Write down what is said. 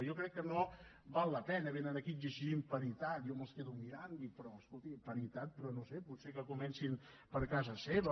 jo crec que no val la pena vénen aquí exigint paritat jo me’ls quedo mirant dic però escolti paritat però no ho sé potser que comencin per casa seva